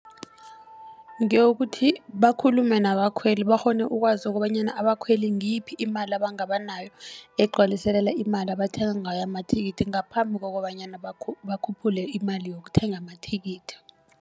Ngeyokuthi bakhulume nabakhweli bakghone ukwazi kobanyana abakhweli ngiyiphi imali abangabanayo. Egcwaliselela imali abathenga ngayo amathikithi ngaphambi kokobanyana bakhuphule imali yokuthenga amathikithi.